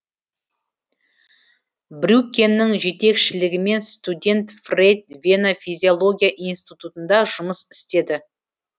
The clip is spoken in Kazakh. брюккенің жетекшілігімен студент фрейд вена физиология институтында жұмыс істеді